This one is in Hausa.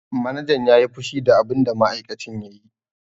Manajan ya yi fushi da abinda ma'aikacin ya yi.